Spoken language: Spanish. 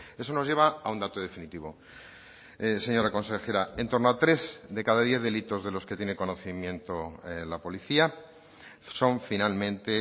eso nos lleva a un dato definitivo señora consejera en torno a tres de cada diez delitos de los que tiene conocimiento la policía son finalmente